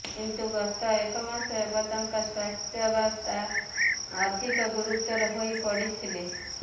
କିନ୍ତୁ ଗତ ଏକମାସ ହେବ ତାଙ୍କ ସ୍ୱାସ୍ଥ୍ୟବସ୍ଥା ଅଧିକ ଗୁରୁତର ହୋଇ ପଡିଥିଲେ